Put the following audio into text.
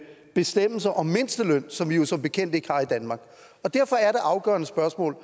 bestemmelser om mindsteløn som vi jo som bekendt ikke har i danmark derfor er det afgørende spørgsmål